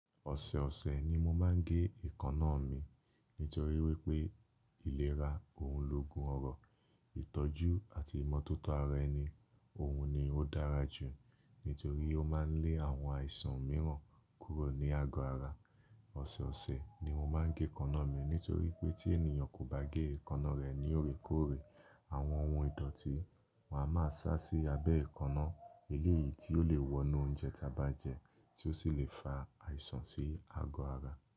Ọ̀sẹ̀ ọ̀sẹ̀ ni mo máa ń gé èékánná mi nítorí wípé ìlera òun ló gun ọrọ̀. Ìtọ́jú àti ìmọ́tótó ara ẹni òun ni ó dára jù nítorí ó máa ń lé àwọn àìsàn mìíràn kúrò ní àgọ́ ara. Ọ̀sẹ̀ ọ̀sẹ̀ ni mo máa ń gé èékánná mi nítorí pé tí ènìyàn kò bá gé èékánná rẹ̀ ní òrékóòrè, àwọn ohun ìdọ̀tí máa ma sá sí abẹ́ èékánná, eléyìí tí ó lè wọnú oúnjẹ tí a bá jẹ tí ó sì lè fa àìsàn sí àgọ́ ara.